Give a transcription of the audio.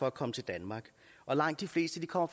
at komme til danmark og langt de fleste kommer